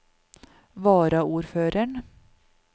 varaordføreren